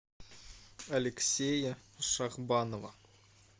алексея шахбанова